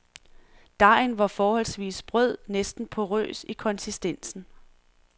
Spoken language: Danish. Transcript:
Dejen var forholdsvis sprød, næsten porrøs i konsistensen.